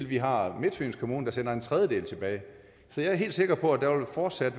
vi har midtfyns kommune der sender en tredjedel tilbage så jeg er helt sikker på at der fortsat